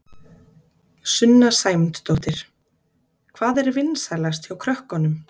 Sunna Sæmundsdóttir: Hvað er vinsælast hjá krökkunum?